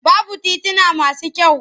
Babu tituna masu kyau.